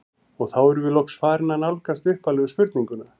Og þá erum við loks farin að nálgast upphaflegu spurninguna.